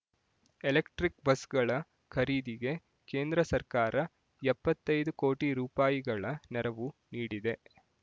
electric ಬಸ್‌ಗಳ ಖರೀದಿಗೆ ಕೇಂದ್ರ ಸರ್ಕಾರ ಎಪ್ಪತ್ತೈದು ಕೋಟಿ ರೂ ಗಳ ನೆರವು ನೀಡಿದೆ